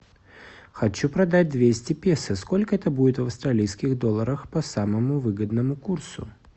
хочу продать двести песо сколько это будет в австралийских долларах по самому выгодному курсу